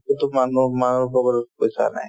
মানুহৰ পকেটত পইচা নাই